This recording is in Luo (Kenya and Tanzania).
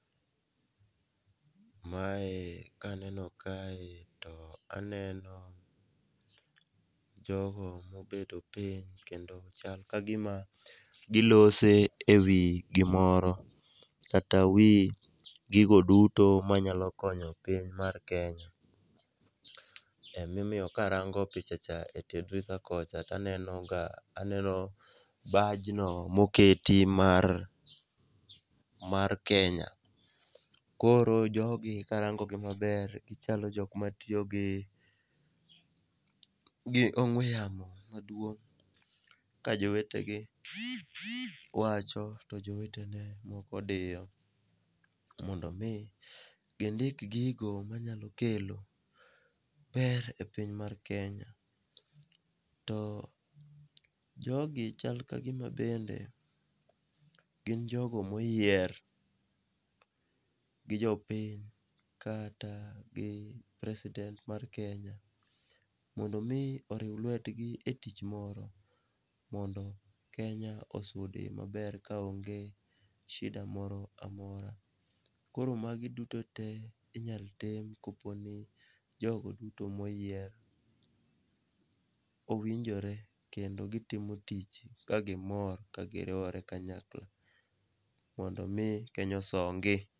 Mae kaneno kae to aneno jogo mobedo piny kendo chal ka gima gilose e wi gimoro kata wi gigo duto manyalo konyo piny mar Kenya. Emomiyo karango pichacha e tie drisa kocha taneno ga bajno moketi mar Kenya, koro jogi karangogi maber gichalo jok matiyo gi ong'we yamo maduong' ka jowetegi wacho to jowetene moko diyo mondo omi gindik gigo manyalo kelo ber e piny mar Kenya, to jogi chal ka gima bende gin jogo moyier gi jopiny kata gi president mar Kenya mondo omi oriw lwetgi e tich moro mondo Kenya osudi maber ka onge shida moro amora. Koro magi dutote inyalo tim koponi jogo duto moyier owinjore kendo gitimo tich kagimor kagiriwore kanyakla mondo omi Kenya osongi.